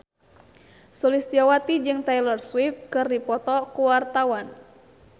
Sulistyowati jeung Taylor Swift keur dipoto ku wartawan